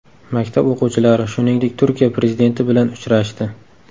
Maktab o‘quvchilari, shuningdek, Turkiya prezidenti bilan uchrashdi.